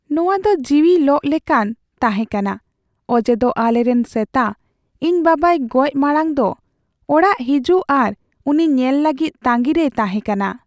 ᱱᱚᱶᱟ ᱫᱚ ᱡᱤᱣᱤ ᱞᱚᱜ ᱞᱮᱠᱟᱱ ᱛᱟᱦᱮᱸ ᱠᱟᱱᱟ ᱚᱡᱮᱫᱚ ᱟᱞᱮᱨᱮᱱ ᱥᱮᱛᱟ ᱤᱧ ᱵᱟᱵᱟᱭ ᱜᱚᱡ ᱢᱟᱲᱟᱝ ᱫᱚ ᱚᱲᱟᱜ ᱦᱤᱡᱩᱜ ᱟᱨ ᱩᱱᱤ ᱧᱮᱞ ᱞᱟᱹᱜᱤᱫ ᱛᱟᱺᱜᱤ ᱨᱮᱭ ᱛᱦᱟᱮᱸ ᱠᱟᱱᱟ ᱾